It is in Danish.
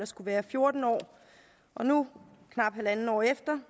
skulle være fjorten år og nu knap halvandet år efter